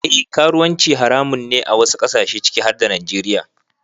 Eh karuwanci haramun ne a wasu kasashe ciki har da Najeriya.